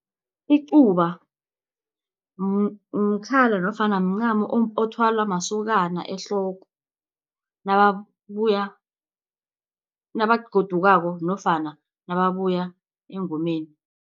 Icuba mkhala nofana mncamo othwalwa masokana ehloko nakabuya nabagodukako nofana nababuya engomeni.